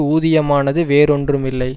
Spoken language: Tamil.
ஊதியமானது வேறொன்றும் இல்லை